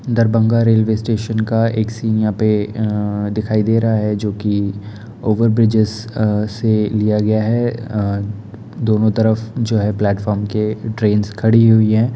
Darbhanga railway station का एक scene यहा पे दिखाई दे रहा है जो कि ओवर बृजेश से लिया गया हैं दोनों तरफ जो है प्लेटफॉर्म के ट्रैंस खड़ी हुई हैं।